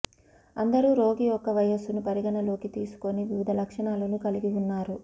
అందరూ రోగి యొక్క వయస్సును పరిగణనలోకి తీసుకుని వివిధ లక్షణాలను కలిగి ఉన్నారు